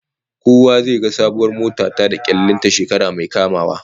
Kowa zai ga sabuwar mota ta da kyallin ta shekara mai kamawa